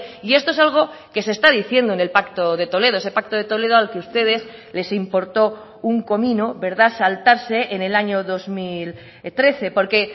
y esto es algo que se está diciendo en el pacto de toledo ese pacto de toledo al que ustedes les importó un comino saltarse en el año dos mil trece porque